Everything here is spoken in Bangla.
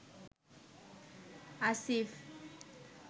আসিফ